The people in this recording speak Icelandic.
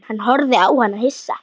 Hann horfði á hana hissa.